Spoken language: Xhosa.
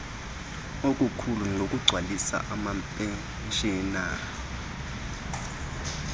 okukhulu ngokugcwalisa amaphetshana